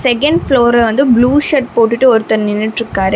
Second ஃப்ளோர்ல வந்து blue shirt போட்டுட்டு ஒருத்தர் நின்னுட்டு இருக்காரு.